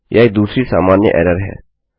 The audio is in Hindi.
यह एक दूसरी सामान्य एररहै